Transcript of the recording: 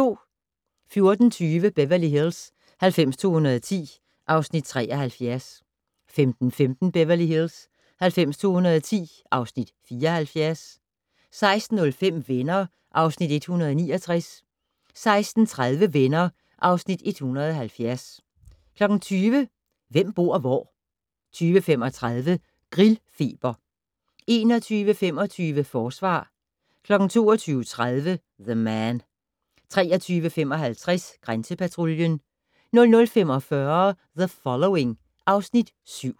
14:20: Beverly Hills 90210 (Afs. 73) 15:15: Beverly Hills 90210 (Afs. 74) 16:05: Venner (Afs. 169) 16:30: Venner (Afs. 170) 20:00: Hvem bor hvor? 20:35: Grillfeber 21:25: Forsvar 22:30: The Man 23:55: Grænsepatruljen 00:45: The Following (Afs. 7)